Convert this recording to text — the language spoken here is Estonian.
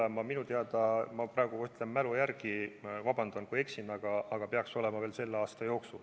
See peaks minu teada olema – ma ütlen praegu mälu järgi, vabandust, kui eksin – veel selle aasta jooksul.